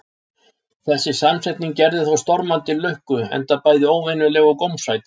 Þessi samsetning gerði þó stormandi lukku, enda bæði óvenjuleg og gómsæt.